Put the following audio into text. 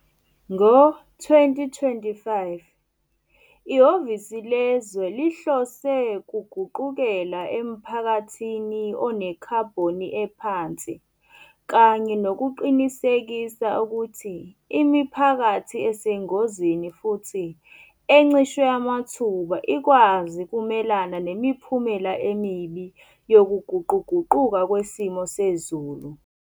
Ngo-2025, iHhovisi Lezwe lihlose kuguqukela emphakathini onekhabhoni ephansi kanye nokuqinisekisa kuthi imiphakathi esengozini futsi encishwe amathuba ikwazi kumelana nemiphumela emibi yokuguquguquka kwesimo sezulu.